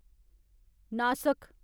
नासक